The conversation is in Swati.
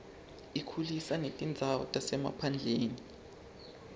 ukhulisa netindzawo tasemaphandleni